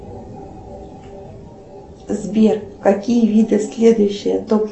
сбер какие виды следующие топ